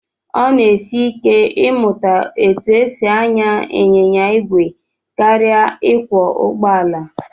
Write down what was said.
Ọ na-esi ike ịmụta etu e si anya ịnyịnya ìgwè karịa ịkwọ ụgbọala